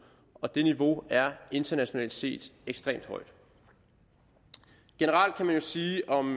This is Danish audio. og det niveau er internationalt set ekstremt højt generelt kan man jo sige om